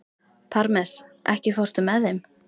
Parmes, ekki fórstu með þeim?